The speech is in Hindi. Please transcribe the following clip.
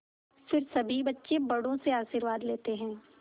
फिर सभी बच्चे बड़ों से आशीर्वाद लेते हैं